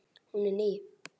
Hún er ný.